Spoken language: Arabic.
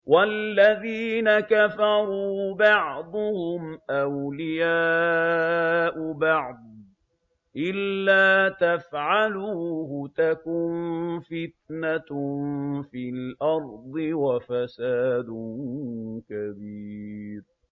وَالَّذِينَ كَفَرُوا بَعْضُهُمْ أَوْلِيَاءُ بَعْضٍ ۚ إِلَّا تَفْعَلُوهُ تَكُن فِتْنَةٌ فِي الْأَرْضِ وَفَسَادٌ كَبِيرٌ